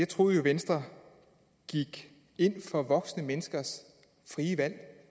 troede jo at venstre gik ind for voksne menneskers frie valg